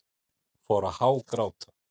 Fór að hágráta.